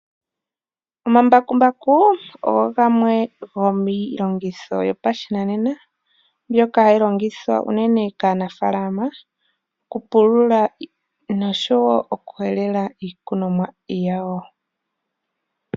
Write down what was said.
Omambakumbaku ogo gamwe gomiilongitho yopashinanena mboka hayi longithwa unene kaanafaalama . Oku pulula nosho woo oku helela iikunomwa yawo.